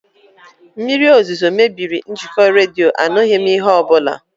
Mmiri ozuzo mebiri njikọ redio, anụghị m ihe ọbụla